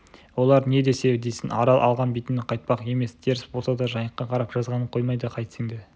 олар не десе десін арал алған бетінен қайтпақ емес теріс болса да жайыққа қарап жазғанын қоймайды қайтсең де